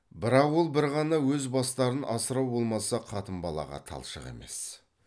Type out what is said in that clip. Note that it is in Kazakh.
бірақ ол бір ғана өз бастарын асырау болмаса қатын балаға талшық емес